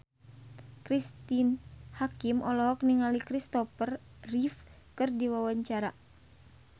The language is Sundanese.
Cristine Hakim olohok ningali Christopher Reeve keur diwawancara